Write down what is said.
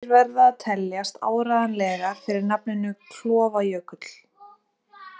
Heimildir verða að teljast áreiðanlegar fyrir nafninu Klofajökull.